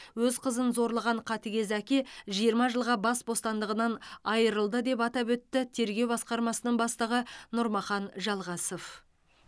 өз қызын зорлаған қатыгез әке жиырма жылға бас бостандығынан айырылды деп атап өтті тергеу басқармасының бастығы нұрмахан жалғасов